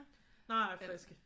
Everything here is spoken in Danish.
Nej friske